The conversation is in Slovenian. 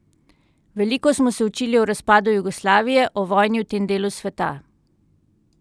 Veliko smo se učili o razpadu Jugoslavije, o vojni v tem delu sveta.